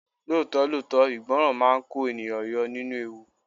Lóòótọ́ lóòótọ́, ìgbọràn máa ń kó ènìyàn yọ nínú ewu.